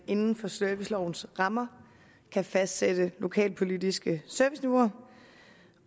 inden for servicelovens rammer kan fastsætte lokalpolitiske serviceniveauer